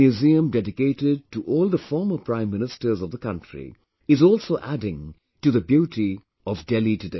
Museum dedicated to all the former Prime Ministers of the country is also adding to the beauty of Delhi today